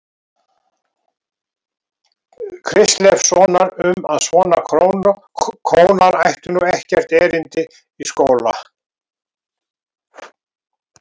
Kristleifssonar um að svona kónar ættu nú ekkert erindi í skóla.